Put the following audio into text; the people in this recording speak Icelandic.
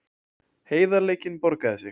Heiðarleikinn borgaði sig